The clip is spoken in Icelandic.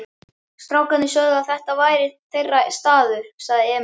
Strákarnir sögðu að þetta væri þeirra staður, sagði Emil.